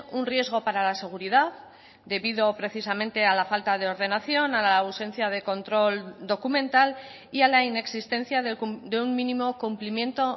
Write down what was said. un riesgo para la seguridad debido precisamente a la falta de ordenación a la ausencia de control documental y a la inexistencia de un mínimo cumplimiento